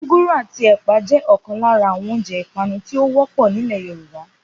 Gúgúrú àti ẹ̀pà jẹ́ ọ̀kan lára àwọn oúnjẹ ipanu tí ó wọ́pọ̀ nílẹ̀ Yorùbá